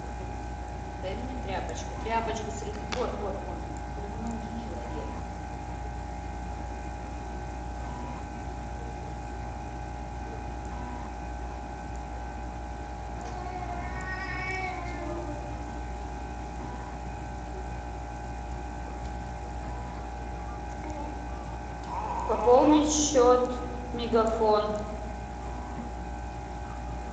дай мне тряпочку тряпочку вот вот можно срыгнул же человек пополнить счет мегафон